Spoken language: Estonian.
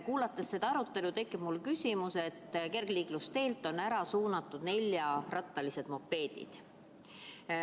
Kuulates seda arutelu, tekib mul küsimus, et kergliiklusteelt on ära suunatud neljarattalised mopeedid.